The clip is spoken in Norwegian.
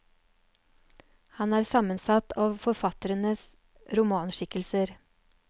Han er sammensatt av forfatterens romanskikkelser.